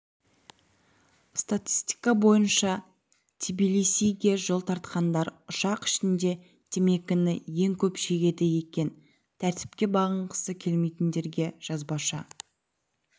статистика бойынша тбилисиге жол тартқандар ұшақ ішінде темекіні ең көп шегеді екен тәртіпке бағынғысы келмейтіндерге жазбаша